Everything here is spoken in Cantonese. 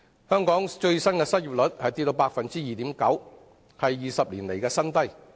香港最新失業率跌至 2.9%， 創20年新低。